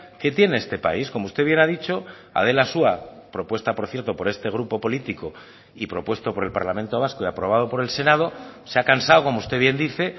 que tiene este país como usted bien ha dicho adela asúa propuesta por cierto por este grupo político y propuesto por el parlamento vasco y aprobado por el senado se ha cansado como usted bien dice